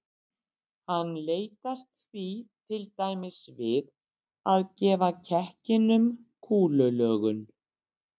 hann leitast því til dæmis við að gefa kekkinum kúlulögun